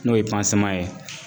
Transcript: N'o ye ye.